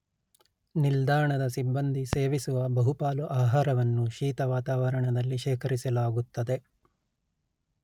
ನಿಲ್ದಾಣದ ಸಿಬ್ಬಂದಿ ಸೇವಿಸುವ ಬಹುಪಾಲು ಆಹಾರವನ್ನು ಶೀತ ವಾತಾವರಣದಲ್ಲಿ ಶೇಖರಿಸಲಾಗುತ್ತದೆ